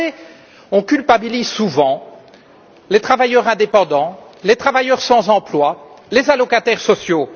Vous savez, on culpabilise souvent les travailleurs indépendants, les travailleurs sans emploi, les allocataires sociaux.